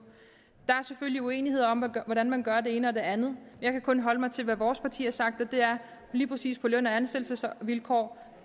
der er selvfølgelig uenigheder om hvordan man gør det ene og det andet jeg kan kun holde mig til hvad vores parti har sagt og det er at lige præcis til løn og ansættelsesvilkår